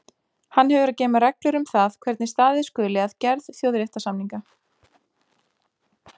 Hann hefur að geyma reglur um það hvernig staðið skuli að gerð þjóðréttarsamninga.